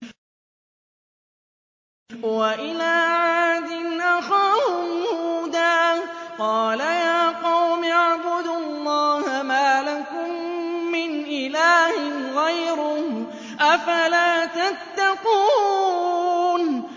۞ وَإِلَىٰ عَادٍ أَخَاهُمْ هُودًا ۗ قَالَ يَا قَوْمِ اعْبُدُوا اللَّهَ مَا لَكُم مِّنْ إِلَٰهٍ غَيْرُهُ ۚ أَفَلَا تَتَّقُونَ